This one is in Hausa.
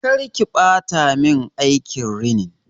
Karki ɓata mun aikin rinin!